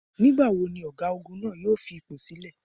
Nígbà wo ni ọ̀gágun náà jọ fi ipò sílè?